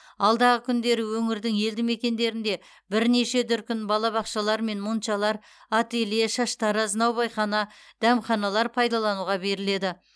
алдағы күндері өңірдің елді мекендерінде бірнеше дүркін балабақшалар мен моншалар ателье шаштараз наубайхана дәмханалар пайдалануға беріледі